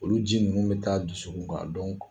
Olu ji ninnu bɛ taa dusukun kan